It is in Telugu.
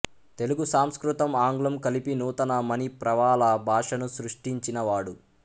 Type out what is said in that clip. తెలుగు సంస్కృతం ఆంగ్లం కలిపి నూతన మణిప్రవాళ భాషను సృష్టించినవాడు